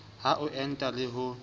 a ho enta le ho